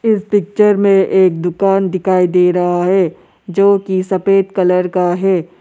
इस पिक्चर में एक दुकान दिखाई दे रहा है जो की सफेद कलर का है।